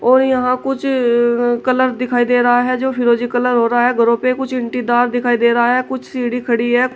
और यहां कुछ कलर दिखाई दे रहा है जो फिरोजी कलर हो रहा है घरों पे कुछ इंटीदार दिखाई दे रहा है कुछ सीढ़ी खड़ी है।